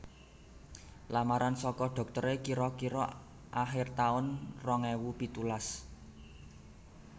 Lamaran soko doktere kiro kiro akhir taun rong ewu pitulas